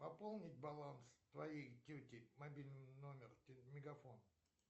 пополнить баланс твоей тети мобильный номер мегафон